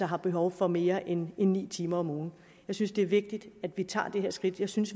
har behov for mere end ni timer om ugen jeg synes det er vigtigt at vi tager det her skridt jeg synes